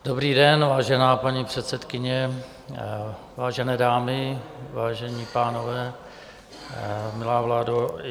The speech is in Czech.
Dobrý den, vážená paní předsedkyně, vážené dámy, vážení pánové, milá vládo.